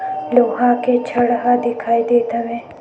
लोहा के छड़ ह दिखाई देत हवे।